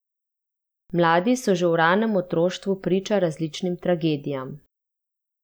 Mladi so že v ranem otroštvu priča različnim tragedijam.